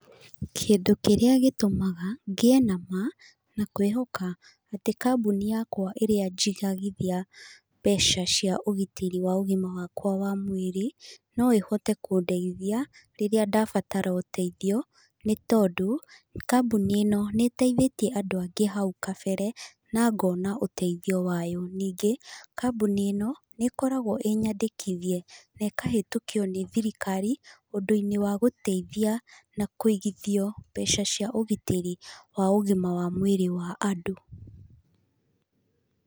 Kĩndũ kĩrĩa gĩtũmaga ngĩe na ma na kwĩhoka atĩ kambuni yakwa ĩrĩa njigagithia mbeca cia ũgitĩri wa ũgima wakwa wa mwĩrĩ, no ĩhote kũndeithia rĩrĩa ndabatara ũteithio, nĩ tondũ, kambuni ĩno nĩ ĩteithĩtie andũ angĩ hau kabere, na ngona ũteithio wayo. Ningĩ, kambuni ĩno, nĩ ĩkoragwo ĩĩ nyandĩkithie na ĩkahetũkio nĩ thirikari ũndũ-inĩ wa gũteithia na kũigithio mbeca cia ũgitĩri wa ũgima wa mwĩrĩ wa andũ.